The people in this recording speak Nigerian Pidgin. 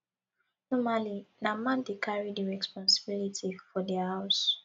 normally na man dey carry di responsibility for di house